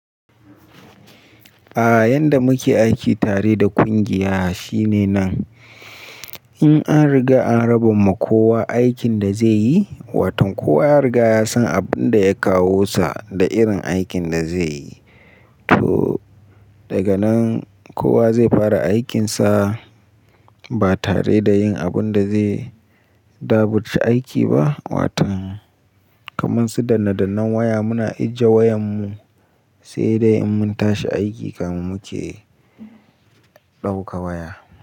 A'a, yanda muke aiki tare da ƙungiya shine nan. In an riga an raba ma kowa aikin da zai yi, watan kowa ya riga ya san abun da ya kawo sa da irin aikin da zai yi. To daga nan kowa zai fara aikinsa ba tare da yin abun da zai daɓurci aiki ba. Watan kamar su danne dannan waya muna ajje wayan mu sai dai in mun tashi aiki kafin muke ɗauka waya.